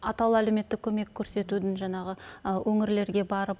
атаулы әлеуметтік көмек көрсетудің жаңағы өңірлерге барып